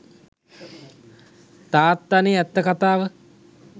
තාත්තනෙ ඇත්ත කතාව.